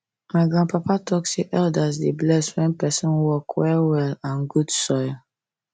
my grandpapa talk say elders dey bless when person work well well and good soil